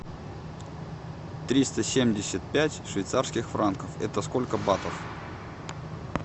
триста семьдесят пять швейцарских франков это сколько батов